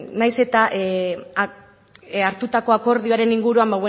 nahiz eta hartutako akordioaren inguruan